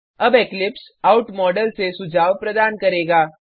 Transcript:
अब eclipse out module से सुझाव प्रदान करेगा